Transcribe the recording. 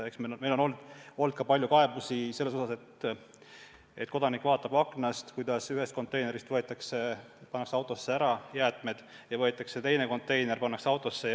Meile on laekunud palju kaebusi selle kohta, et kodanik vaatab aknast, kuidas ühest konteinerist kummutatakse autosse ära ühed jäätmed ja siis võetakse teine konteiner ja kummutatakse samasse autosse.